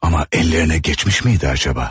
Amma əllərinə keçmişmiydi acaba?